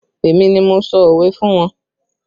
Èmi ni mo sọ òwe fún wọn